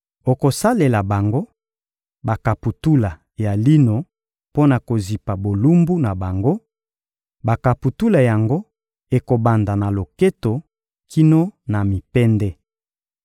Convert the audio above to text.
Okosalela bango bakaputula ya lino mpo na kozipa bolumbu na bango: bakaputula yango ekobanda na loketo kino na mipende.